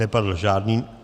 Nepadl žádný...